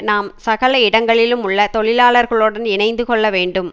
நாம் சகல இடங்களிலும் உள்ள தொழிலாளர்களுடன் இணைந்து கொள்ள வேண்டும்